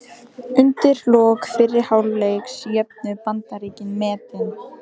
Undir lok fyrri hálfleiks jöfnuðu Bandaríkin metin.